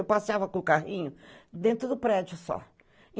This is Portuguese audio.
Eu passeava com o carrinho, dentro do prédio só.